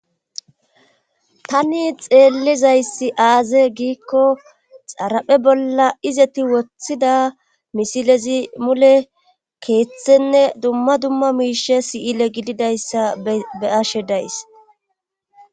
tani xeellizayssi aaze giikko xaraphe bolla izeti woththida misilezi mule keeththenne dumma dumma miishe siyile gididayssa be ashe days